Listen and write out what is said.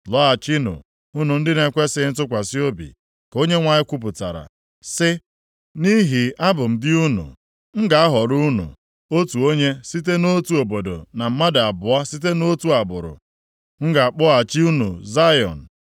“Lọghachinụ unu ndị na-ekwesighị ntụkwasị obi,” ka Onyenwe anyị kwupụtara, sị, “nʼihi abụ m di unu. M ga-ahọrọ unu, otu onye site nʼotu obodo na mmadụ abụọ site nʼotu agbụrụ. M ga-akpọghachi unu Zayọn.